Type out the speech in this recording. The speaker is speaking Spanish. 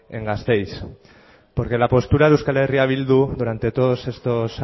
en gazteiz porque la postura de euskal herria bildu durante todas estos